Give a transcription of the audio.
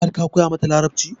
Har ka koya mata Larabci?